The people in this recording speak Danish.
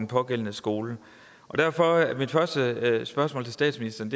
pågældende skoler derfor er mit første spørgsmål til statsministeren